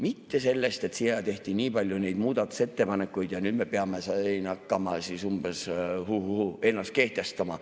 Mitte sellest, et tehti nii palju neid muudatusettepanekuid ja nüüd me peame hakkama siin umbes, huhuhuu, ennast kehtestama.